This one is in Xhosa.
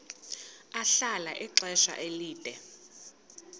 ahlala ixesha elide